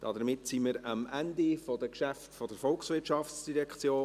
Damit sind wir am Ende der Geschäfte der VOL angelangt.